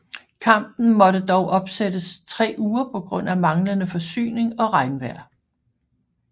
Kampen måtte dog opsættes 3 uger på grund af manglende forsyning og regnvejr